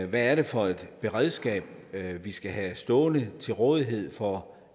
hvad er det for et beredskab vi skal have stående til rådighed for